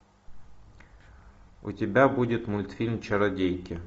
у тебя будет мультфильм чародейки